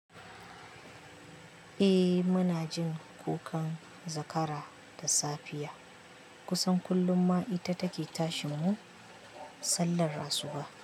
Eh muna jin kukan zakara da safiya. Kusan kullum ma ita take tashin mu sallar asuba.